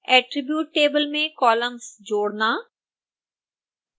attribute table में columns जोड़ना